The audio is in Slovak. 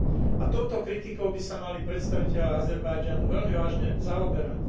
A touto kritikou by sa mali predstavitelia Azerbajdžanu veľmi vážne zaoberať.